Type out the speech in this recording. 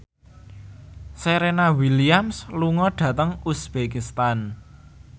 Serena Williams lunga dhateng uzbekistan